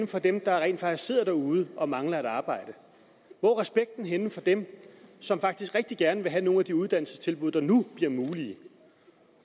for dem der rent faktisk sidder derude og mangler et arbejde hvor er respekten henne for dem som faktisk rigtig gerne vil have nogle af de uddannelsestilbud der nu bliver mulige